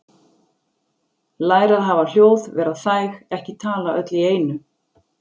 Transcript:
Læra að hafa hljóð- vera þæg- ekki tala öll í einu